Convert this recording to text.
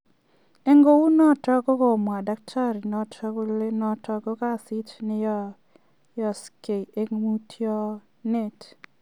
En kounoton kogomwa daktari noton kole noton koo kasiit neyooksee en mutionet.